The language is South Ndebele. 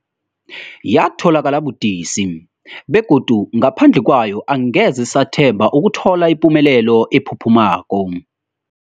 Yatholakala budisi, begodu ngaphandle kwayo angeze sathemba ukuthola ipumelelo ephuphumako.